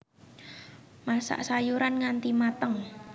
Masak sayuran nganti mateng